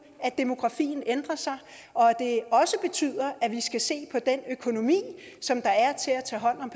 at demografien ændrer sig og at at vi skal se på den økonomi som der er til at tage hånd om